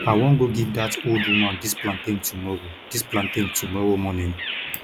i wan go give dat old woman dis plantain tomorrow dis plantain tomorrow morning